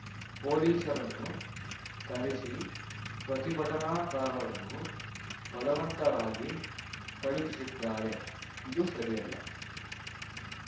ಪೊಲೀಸರನ್ನು ಕರೆಸಿ ಪ್ರತಿಭಟನಾಕಾರರನ್ನು ಬಲವಂತವಾಗಿ ಕಳಿಹಿಸಿದ್ದಾರೆ ಇದು ಸರಿಯಲ್ಲ